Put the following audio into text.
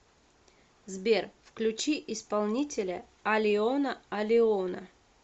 сбер включи исполнителя алиона алиона